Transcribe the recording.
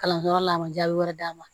Kalanyɔrɔ la a ma jaabi wɛrɛ d'a ma